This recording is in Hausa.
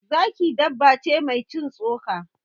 Zaki dabba ce mai cin tsoka.